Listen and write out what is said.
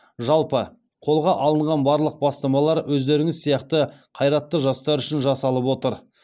жалпы қолға алынған барлық бастамалар өздеріңіз сияқты қайратты жастар үшін жасалып отыр